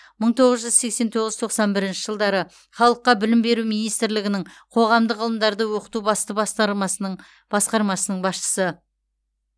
мың тоғыз жүз сексен тоғыз тоқсан бірінші жылдары халыққа білім беру министрлігінің қоғамдық ғылымдарды оқыту басты бастармасының басқармасының басшысы